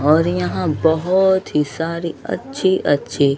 और यहां बहुत ही सारी अच्छी अच्छी--